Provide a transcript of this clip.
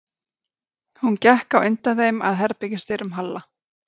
Hún gekk á undan þeim að herbergis- dyrum Halla.